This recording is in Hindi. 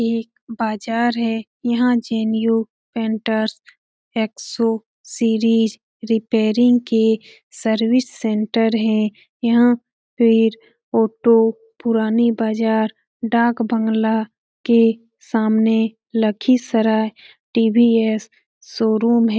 यह एक बाज़ार है | यहाँ पैन्टेर्स एक्सो सीरीज रिपेयरिंग के सर्विस सेंटर है । यहाँ पे ऑटो पुराने बाज़ार डाक बंगला के सामने लखीसराए टी.वी.एस. शोरूम है ।